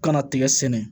Kana tigɛ sɛnɛ